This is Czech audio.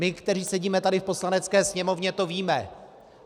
My, kteří sedíme tady v Poslanecké sněmovně, to víme.